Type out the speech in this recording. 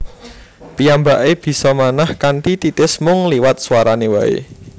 Piyambake bisa manah kanthi titis mung liwat swarane wae